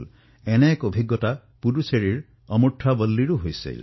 ঠিক তেনেকুৱা এক অভিজ্ঞতা পুডুচেৰীৰ অমুৰ্থা ৱল্লীৰো আছে